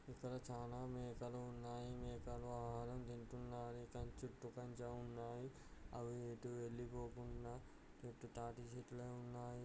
చాలా మేకలు ఉన్నాయి. మేకలు ఆహారం తింటున్నాయి.దాని చుట్టూ కంచె ఉన్నాయి. అవి ఎటు వెళ్ళిపోకుండా పెద్ద తాడిచెట్లే ఉన్నాయి.